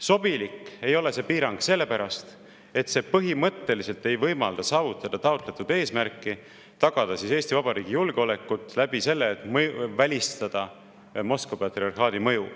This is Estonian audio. Sobilik ei ole see piirang sellepärast, et see põhimõtteliselt ei võimalda saavutada taotletud eesmärki: tagada Eesti Vabariigi julgeolekut läbi selle, et välistada Moskva patriarhaadi mõju.